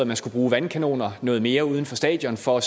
man skulle bruge vandkanoner noget mere uden for stadion for